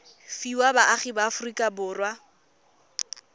fiwa baagi ba aforika borwa